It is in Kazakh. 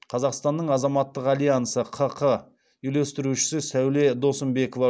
қазақстанның азаматтық альянсы ққ үйлестірушісі сәуле досымбекова